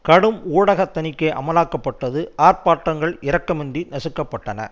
கடும் ஊடக தணிக்கை அமலாக்கப்பட்டது ஆர்ப்பாட்டங்கள் இரக்கமின்றி நசுக்க பட்டன